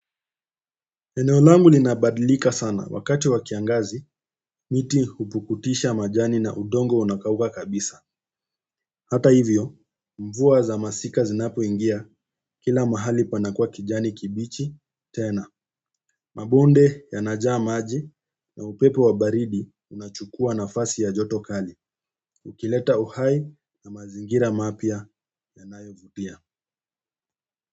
Eneo langu lina badilika sana wakati wa kiangazi, miti hupukutisha majani na udongo unakauka kabisa. Hata hivyo, mvua za masika zinapo ingia kila mahali panakua kijani kibichi, tena. Mabonde yanajaa maji na upepo wa baridi unachukua nafasi ya joto kali. Ukileta uhai na mazingira mapya yanayo vutia.